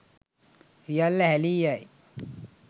සියල්ල හැලී යයි.